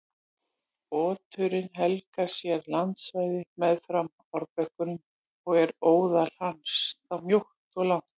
Oturinn helgar sér landsvæði meðfram árbökkum og er óðal hans þá mjótt og ílangt.